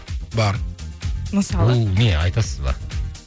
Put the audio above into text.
бар мысалы ол не айтасыз ба